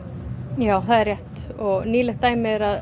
já það er rétt og nýlegt dæmi er